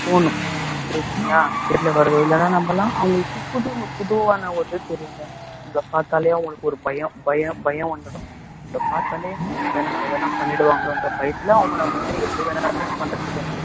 போணும் புரியுதுங்களா வெளியில வரு இல்லைன்னா நம்பலாம் அவங்களுக்கு புது~ புதுவான ஒரு இது தெரியும்ங்க உங்களை பார்த்தாலே அவங்களுக்கு ஒரு பயம் பயம் பயம் வந்துடும் இவங்க பார்த்தாலே நம்மள எதுனா பண்ணிடுவாங்களோன்ற பயத்துல அவங்க நம்மளே எது வேணாலும் பண்றதுக்கு